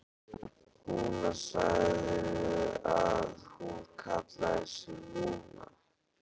Lúna, sagðirðu að hún kallaði sig Lúnu?